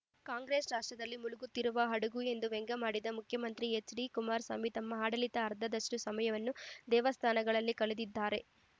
ಕಾಂಗ್ರೆಸ್‌ ರಾಷ್ಟ್ರದಲ್ಲಿ ಮುಳುಗುತ್ತಿರುವ ಹಡಗು ಎಂದು ವ್ಯಂಗ್ಯವಾಡಿದರು ಮುಖ್ಯಮಂತ್ರಿ ಎಚ್‌ಡಿಕುಮಾರಸ್ವಾಮಿ ತಮ್ಮ ಆಡಳಿತದ ಅರ್ಧದಷ್ಟುಸಮಯವನ್ನು ದೇವಸ್ಥಾನಗಳಲ್ಲಿ ಕಳಿದಿದ್ದಾರೆ